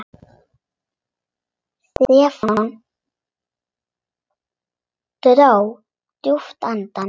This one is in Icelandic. Stefán dró djúpt andann.